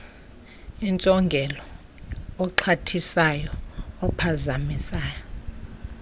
intsongelo oxhathisayo ophazamisa